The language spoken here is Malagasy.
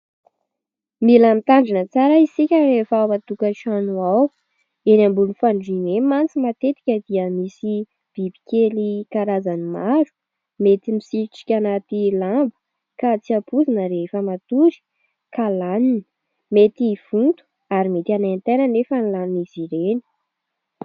Mila mitandrina tsara isika rehefa ao an-tokan-trano ao. Eny ambonin'ny fandriana eny mantsy matetika dia misy biby kely karazany maro mety misitrika anaty lamba ka tsy ampoizina rehefa matory ka laniny. Mety hivonto ary mety hanaintaina nefa ny lanin'izy ireny